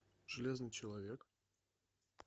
железный человек